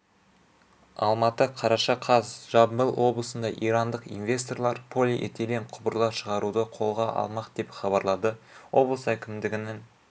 алматы қараша қаз жамбыл облысында ирандық инвесторлар полиэтилен құбырлар шығаруды қолға алмақ деп хабарлады облыс әкімдігінің